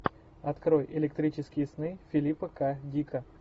открой электрические сны филипа к дика